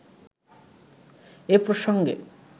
এ প্রসঙ্গে